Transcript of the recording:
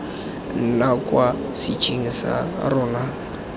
nna kwa setsheng sa rona